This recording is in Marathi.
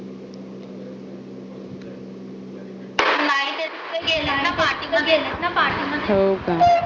गेलेत ना party मध्ये